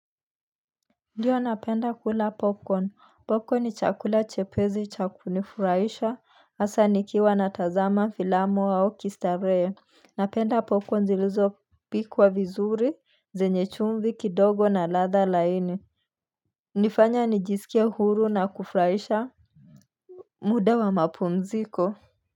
Ndiyo napenda kula popcorn popcorn ni chakula chepesi cha kunifurahisha hasaa nikiwa natazama filamu au kistarehe Napenda popcorn zilizo pikwa vizuri zenye chumvi kidogo na ladha laini nifanya nijisikie huru na kufurahisha muda wa mapumziko.